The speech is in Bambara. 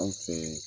Anw fɛ